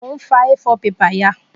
Mo n fa A4 paper ya